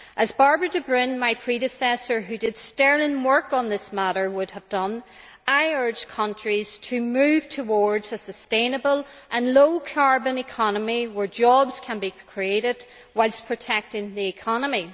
As Bairbre de Brún, my predecessor, who did sterling work on this matter, would have done, I urge countries to move towards a sustainable and low carbon economy where jobs can be created, whilst protecting the economy.